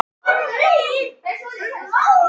Það eru engin illindi hér.